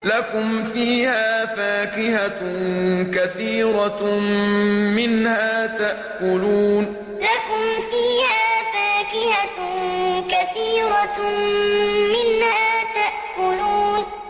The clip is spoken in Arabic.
لَكُمْ فِيهَا فَاكِهَةٌ كَثِيرَةٌ مِّنْهَا تَأْكُلُونَ لَكُمْ فِيهَا فَاكِهَةٌ كَثِيرَةٌ مِّنْهَا تَأْكُلُونَ